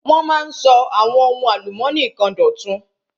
Wọ́n máa ń sọ àwọn ohun álùmónì kan dọ̀tun.